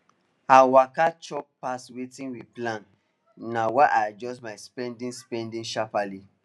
her waka chop pass wetin we plan na why i adjust my spending spending sharperly